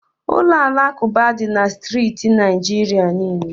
Ụlọ alakụba dị na steeti Naijiria niile.